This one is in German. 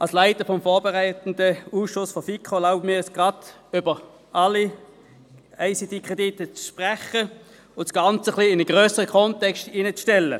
Als Leiter des vorberatenden Ausschusses der FiKo erlaube ich mir, gleich zu allen ICT-Krediten zu sprechen und diese in einen grösseren Kontext einzubetten.